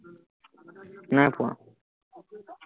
নাই পোৱা